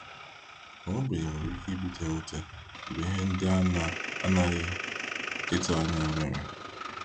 Ma ogbenye nwere ike ibute mwute mgbe ihe ndị ana anaghị ịtụ anya mere.